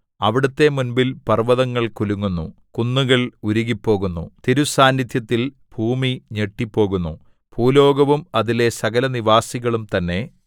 അവിടുത്തെ മുമ്പിൽ പർവ്വതങ്ങൾ കുലുങ്ങുന്നു കുന്നുകൾ ഉരുകിപ്പോകുന്നു തിരുസാന്നിദ്ധ്യത്തിൽ ഭൂമി ഞെട്ടിപ്പോകുന്നു ഭൂലോകവും അതിലെ സകലനിവാസികളും തന്നെ